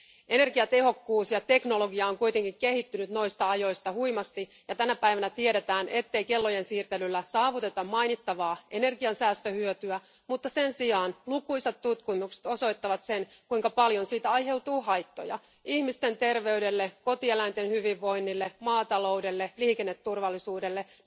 Energiatehokkuus ja teknologia on kuitenkin kehittynyt noista ajoista huimasti, ja tänä päivänä tiedetään, ettei kellojen siirtelyllä saavuteta mainittavaa energiansäästöhyötyä, mutta sen sijaan lukuisat tutkimukset osoittavat sen, kuinka paljon siitä aiheutuu haittoja ihmisten terveydelle, kotieläinten hyvinvoinnille, maataloudelle, liikenneturvallisuudelle jne..